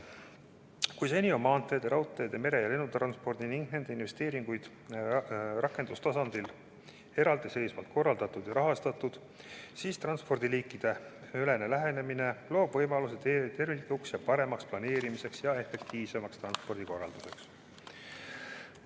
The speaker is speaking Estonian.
Kui seni on maantee-, mere- ja lennutransporti ning vastavaid investeeringuid rakendustasandil eraldi seisvalt korraldatud ja rahastatud, siis transpordiliikideülene lähenemine loob võimalused terviklikuks ja paremaks planeerimiseks ja efektiivsemaks transpordi korraldamiseks.